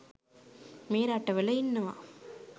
මේ රටවල ඉන්නවා